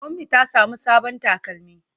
Ummi ta samu sabon takalmi.